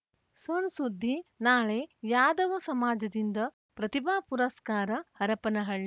ಸಣ್‌ ಸುದ್ದಿ ನಾಳೆ ಯಾದವ ಸಮಾಜದಿಂದ ಪ್ರತಿಭಾ ಪುರಸ್ಕಾರ ಹರಪನಹಳ್ಳಿ